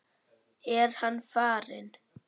Er hann farinn?